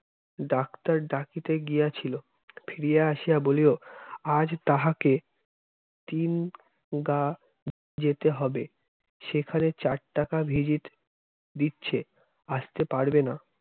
doctor ডাকিতে গিয়াছিল ফিরে আসিয়া বলিল আজ তাহাকে তিন গা যেতে হবে। সেখানে চার টাকা visit দিচ্ছে আসতে পারবে না